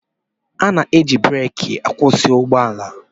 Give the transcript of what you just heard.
A na-eji breeki akwụsị ụgbọala.